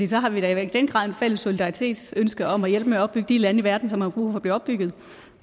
så har vi da i den grad et fælles solidaritetsønske om at hjælpe med at opbygge de lande i verden som har brug for at blive opbygget